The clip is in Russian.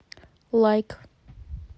лайк